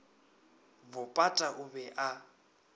bo pata o be a